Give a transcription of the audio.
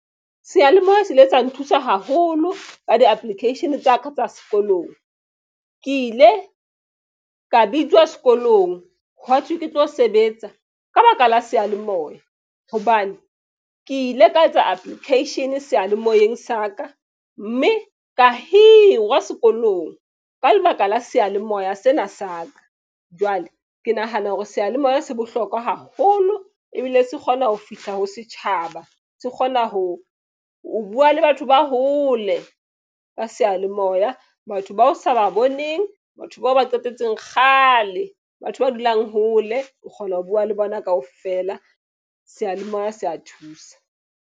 Seyalemoya se ile sa nthusa haholo ka di-application tsa ka tsa sekolong. Ke ile ka bitswa sekolong hwa thwe ke tlo sebetsa ka baka la seyalemoya. Hobane ke ile ka etsa application seyalemoyeng sa ka. Mme ka hirwa sekolong ka lebaka la seyalemoya sena sa ka. Jwale ke nahana hore seyalemoya se bohlokwa haholo. Ebile se kgona ho fihla ho setjhaba. Se kgona ho bua le batho ba hole ka seyalemoya. Batho bao sa ba boneng batho bao ba qetetseng kgale, batho ba dulang hole o kgona ho bua le bona kaofela. Seyalemoya se a thusa.